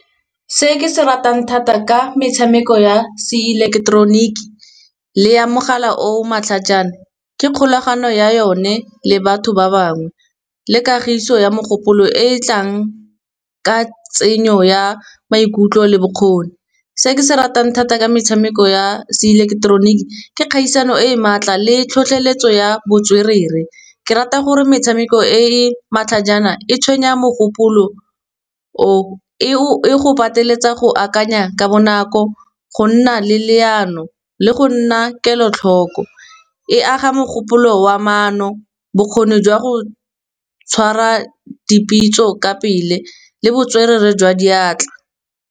Se ke se ratang thata ka metshameko ya se ileketeroniki, le ya mogala o matlhajana, ke kgolagano ya yone le batho ba bangwe. Le kagiso ya mogopolo e e tlang ka tsenyo ya maikutlo le bokgoni. Se ke se ratang thata ka metshameko ya se ileketeroniki, ke kgaisano e e maatla le tlhotlheletso ya botswerere, ke rata gore metshameko e matlhajana e tshwenya mogopolo, e go pateletsa go akanya ka bonako go nna le leano le go nna kelotlhoko. E aga mogopolo wa maano, bokgoni jwa go tshwara di pitso ka pele, le botswerere jwa diatla.